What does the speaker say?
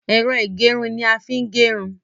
Ẹ̀rọ ìgẹrun ni a fi ń gẹrun.